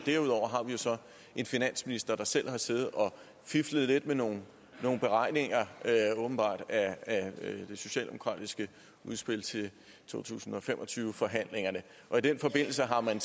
derudover har vi jo så en finansminister der selv har siddet og fiflet lidt med nogle beregninger åbenbart af det socialdemokratiske udspil til to tusind og fem og tyve forhandlingerne i den forbindelse har man